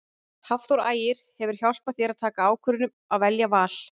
Hafþór Ægir hefur hjálpað þér að taka ákvörðun um að velja Val?